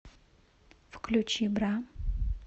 включи бра